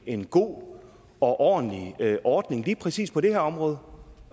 en god og ordentlig og ordning lige præcis på det her område